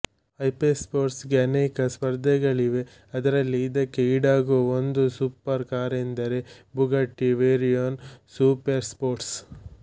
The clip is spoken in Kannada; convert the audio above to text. ಹೈಪೆರ್ಸ್ಪೋರ್ಟ್ಗೆ ಅನೇಕ ಸ್ಪರ್ಧೆಗಳಿವೆ ಅದರಲ್ಲಿ ಇದಕ್ಕೆ ಈಡಾಗುವ ಒಂದು ಸುಪೆರ್ ಕಾರೆನ್ದರೆ ಬುಗಟ್ಟಿ ವೇಯ್ರೋನ್ ಸೂಪೇರ್ ಸ್ಪೋರ್ಟ್